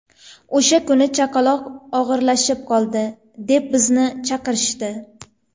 O‘sha kuni chaqaloq og‘irlashib qoldi, deb bizni chaqirishdi.